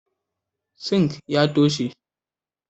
"Sink" ya taushe.